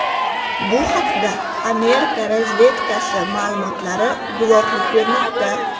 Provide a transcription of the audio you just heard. Bu haqda Amerika razvedkasi ma’lumotlari guvohlik bermoqda.